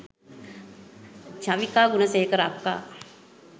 චවිකා ගුණසේකර අක්කා